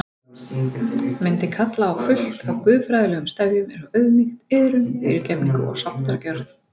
Myndi kalla á fullt af guðfræðilegum stefjum eins Auðmýkt, iðrun, fyrirgefningu og sáttargjörð.